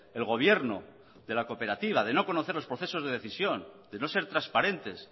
el gobierno de la cooperativa de no conocer los procesos de decisión de no ser transparentes